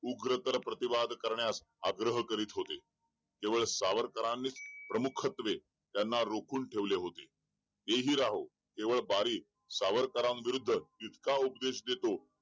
उग्र तर प्रतिवाद करण्यास आग्रह करीत होते केवळ सावरकरांनी प्रमुखत्वे त्यांना रॊखून ठेवले होते तेही राहो केवळ बारी सावराकारणबदल इतका उपदेश देतो